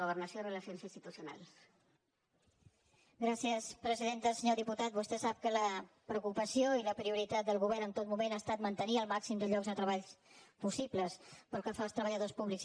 senyor diputat vostè sap que la preocupació i la prioritat del govern en tot moment ha estat mantenir el màxim de llocs de treball possible pel que fa als treballadors públics